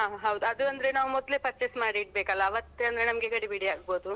ಹಾ ಹಾ ಅದು ಅಂದ್ರೆ ನಾವು ಮೊದ್ಲೆ purchase ಮಾಡಿ ಇಡ್ಬೇಕಲಾ ಅವತ್ತೆ ಅಂದ್ರೆ ನಮ್ಗೆ ಗಡಿಬಿಡಿ ಆಗ್ಬೋದು.